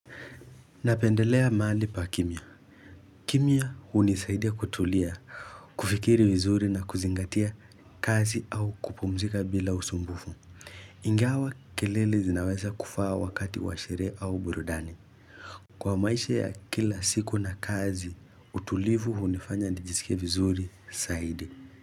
Napendelea mali pa kimya. Kimya hunisaidia kutulia, kufikiri vizuri na kuzingatia kazi au kupumzika bila usumbufu. Ingawa kelele zinaweza kufaa wakati washere au burudani. Kwa maisha ya kila siku na kazi, utulivu unifanya nijisike vizuri saidi.